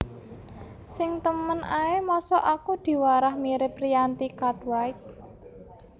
Sing temen ae mosok aku diwarah mirip Rianti Cartwright